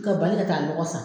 Ka bali ka taa lɔgɔ san